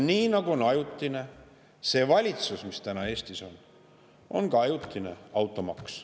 Nii nagu on ajutine see valitsus, mis täna Eestis on, on ajutine ka automaks.